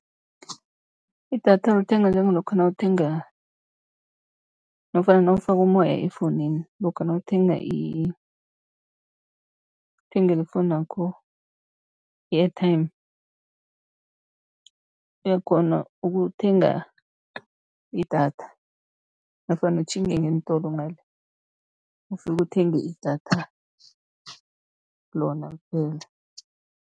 Idatha lithengwa njengalokha nawuthenga nofana nawufaka umoya efowunini. Lokha nawuthenga uthengela ifowunu yakho i-airtime, uyakghona ukuthenga idatha nofana utjhinge ngeentolo ngale, ufike uthenge idatha lona kuphela.